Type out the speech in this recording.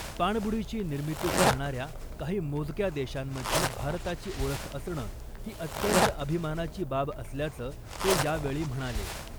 पाणबुडीची निर्मिती करणाऱ्या काही मोजक्या देशांमध्ये भारताची ओळख असणं , ही अत्यंत अभिमानाची बाब असल्याचं ते यावेळी म्हणाले .